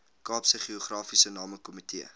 kaapse geografiese namekomitee